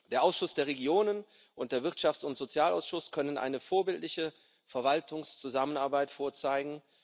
Der Ausschuss der Regionen und der Wirtschafts und Sozialausschuss können eine vorbildliche Verwaltungszusammenarbeit vorweisen.